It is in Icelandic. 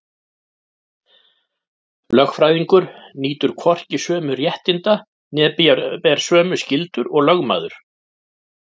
Lögfræðingur nýtur hvorki sömu réttinda né ber sömu skyldur og lögmaður.